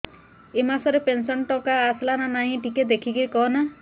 ଏ ମାସ ରେ ପେନସନ ଟଙ୍କା ଟା ଆସଲା ନା ନାଇଁ ଟିକେ ଦେଖିକି କହନା